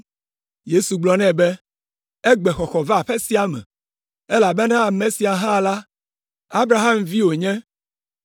Yesu gblɔ nɛ be, “Egbe xɔxɔ va aƒe sia me, elabena ame sia hã la, Abraham vi wònye.